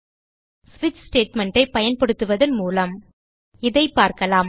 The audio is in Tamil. ஸ்விட்ச் ஸ்டேட்மெண்ட் ஐ பயன்படுத்துவதன் மூலம் இதை பார்க்கலாம்